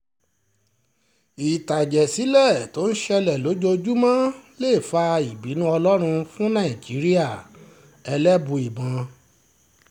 ìtàjẹ̀sílẹ̀ tó ń ṣẹlẹ̀ lójoojúmọ́ lè fa ìbínú ọlọ́run fún nàìjíríà-ẹlẹ́bùíbọn